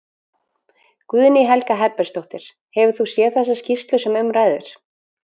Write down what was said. Guðný Helga Herbertsdóttir: Hefur þú séð þessa skýrslu sem um ræðir?